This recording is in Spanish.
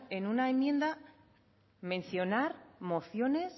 en una enmienda menciona mociones